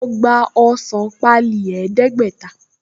Mo gba ọsàn páálí ẹdẹ̀ẹ́gbẹ̀ta